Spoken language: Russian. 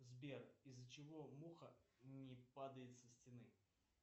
сбер из за чего муха не падает со стены